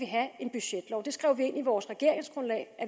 have en budgetlov det skrev vi ind i vores regeringsgrundlag at